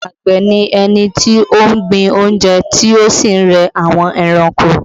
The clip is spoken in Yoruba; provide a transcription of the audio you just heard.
Àgbẹ̀ ni ẹni tí ó ń gbin oúnjẹ tí ó sì ń re àwọn ẹranko